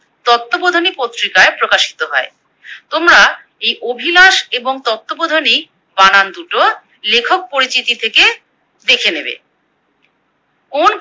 তত্ত্ববোধনী পত্রিকায় প্রকাশিত হয়। তোমরা এই অভিলাষ এবং তত্ত্ববোধনী বানান দুটো লেখক পরিচিতি থেকে দেখে নেবে। কোন